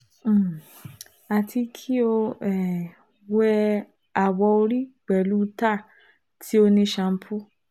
um Ati ki o um wẹ awọ ori pẹlu tar ti o ni sampo